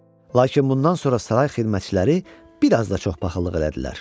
Lakin bundan sonra saray xidmətçiləri bir az da çox paxıllıq elədilər.